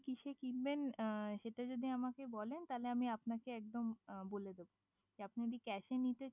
কিসে কিনবে সেটা যদি আমাকে বলেন তাহলে আমি আপনাকে একদম বলে দেব আপনি যদি কৈসে নিতে